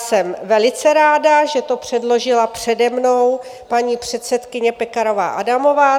Jsem velice ráda, že to předložila přede mnou paní předsedkyně Pekarová Adamová.